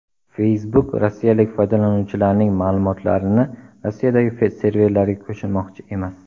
Facebook rossiyalik foydalanuvchilarning ma’lumotlarini Rossiyadagi serverlarga ko‘chirmoqchi emas.